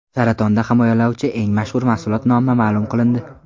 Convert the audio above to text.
Saratondan himoyalovchi eng mashhur mahsulot nomi ma’lum qilindi.